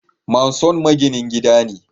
Manson maginin gida ne